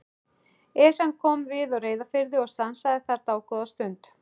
Esjan kom við á Reyðarfirði og stansaði þar dágóða stund.